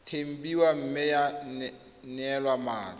tempiwa mme ya neelwa mmatla